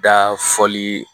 Da fɔli